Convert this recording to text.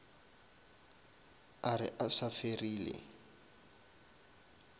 a re a sa ferile